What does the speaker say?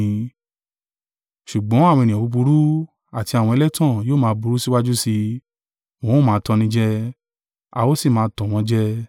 Ṣùgbọ́n àwọn ènìyàn búburú, àti àwọn ẹlẹ́tàn yóò máa burú síwájú sí i, wọn ó máa tannijẹ, a ó sì máa tàn wọ́n jẹ.